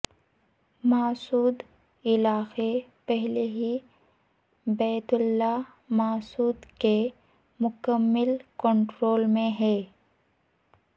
محسود علاقہ پہلے ہی بیت اللہ محسود کے مکمل کنٹرول میں ہے